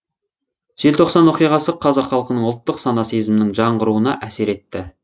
желтоқсан оқиғасы қазақ халқының ұлттық сана сезімінің жаңғыруына әсер етті